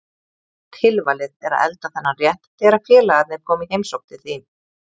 Tilvalið er að elda þennan rétt þegar félagarnir koma í heimsókn til þín.